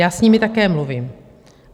Já s nimi také mluvím.